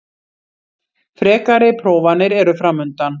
Frekari prófanir eru framundan